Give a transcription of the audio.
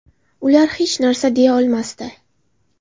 Ular hech narsa deya olmasdi.